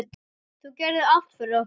Þú gerðir allt fyrir okkur.